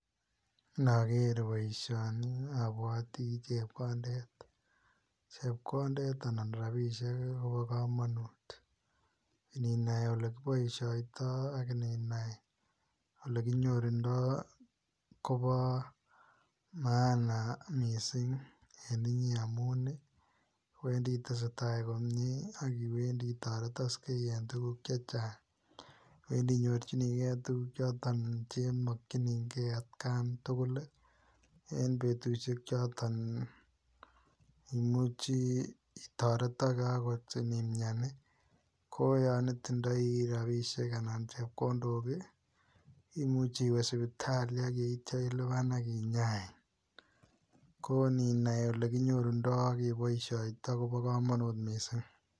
Nager boisioni abwatii chepkondeet chepkondeet anan rapisheek ii Kobo kamanut ininai ole kibaishaitaa ak ininai ole kinyorunda Kobo []maana[] missing en inyei amuun ii iwendii itesetai inae komyei ak iwendii itaretaksei en tuguuk che chaang iwendii inyorjinikei tuguuk chotoon che makyinigei at Gaan tugul ii en betusiek chotoon imuchii akoot itaretaksei inimian ii koyaan itindaii rapisheek anan ko chepkondook ii imuche iweeh sipitalishek ak yeityaa kinyain ko ininai ole kinyorunda ak kebaishaindaa ko bo kamanut missing.